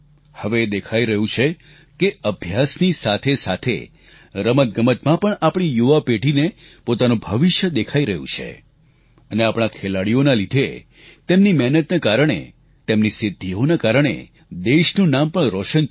હવે એ દેખાઈ રહ્યું છે કે અભ્યાસની સાથેસાથે રમતગમતમાં પણ આપણી યુવા પેઢીને પોતાનું ભવિષ્ય દેખાઈ રહ્યું છે અને આપણાં ખેલાડીઓના લીધે તેમની મહેનતના કારણે તેમની સિદ્ધિઓનાં કારણે દેશનું નામ પણ રોશન થાય છે